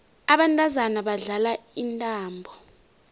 abantazana badlala intambo